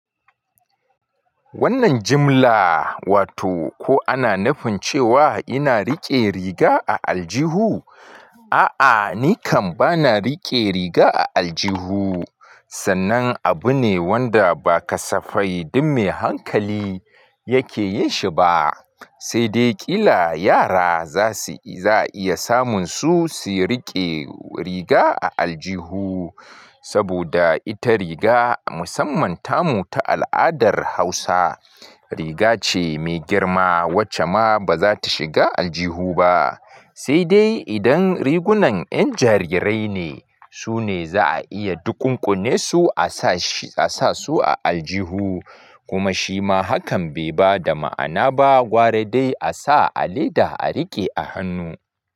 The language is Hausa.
Wannan jimla, wato ko ana nufin cewa ina riƙe riga a aljihu? A'a, ni kam ba na riƙe riga a aljihu. Sannan abu ne wanda ba ka safai duk mai hankali yake yin shi ba. Sai dai ƙila yara za su, za a iya samun su su riƙe riga a aljihu. Saboda ita riga musamman tamu ta al'adar Hausa, riga ce mai girma wacce ma ba za ta shiga aljihu ba. Sai dai idan rigunan 'yan jarirai ne, su ne za a iya dukunkune su a sa shi, a sa su a aljihu. Kuma shi ma hakan bai ba da ma'ana ba, gwara dai a sa a leda a riƙe a hannu.